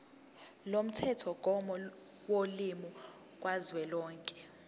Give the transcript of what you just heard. lomthethomgomo wolimi kazwelonke